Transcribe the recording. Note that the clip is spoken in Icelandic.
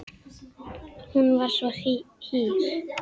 Hún var svo hýr.